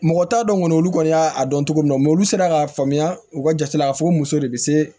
Mɔgɔ t'a dɔn kɔni olu kɔni y'a dɔn cogo min olu sera k'a faamuya u ka jati y'a fɔ muso de bɛ se